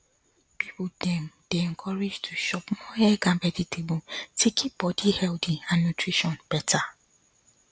people dem dey encouraged to chop more egg and vegetable to keep body healthy and nutrition better